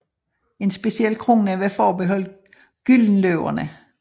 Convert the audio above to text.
En speciel krone var forbeholdt Gyldenløverne